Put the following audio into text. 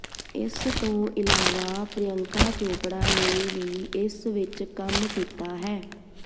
ਇਸ ਤੋਂ ਇਲਾਵਾ ਪ੍ਰਿਅੰਕਾ ਚੋਪੜਾ ਨੇ ਵੀ ਇਸ ਵਿਚ ਕੰਮ ਕੀਤਾ ਹੈ